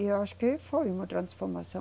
E eu acho que foi uma transformação.